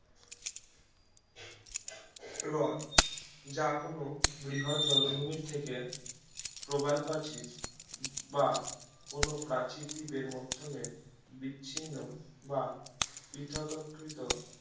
হ্রদ যা কোনো বৃহদ জলভূমির থেকে প্রবালপ্রাচীর বা কোনো প্রাচীর দ্বীপের মাধ্যমে বিচ্ছিন্ন বা পৃথক আকৃত